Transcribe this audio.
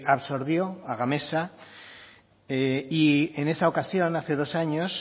absorbió a gamesa y en esa ocasión hace dos años